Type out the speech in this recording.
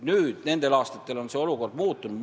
Nüüd on mõne aastaga see olukord muutunud.